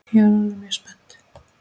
Ég er orðin mjög spennt!